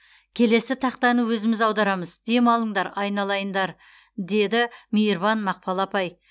келесі тақтаны өзіміз аударамыз демалыңдар айналайындар деді мейірбан мақпал апай